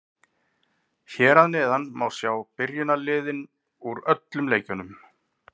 Hér að neðan má sjá byrjunarliðin úr öllum leikjunum.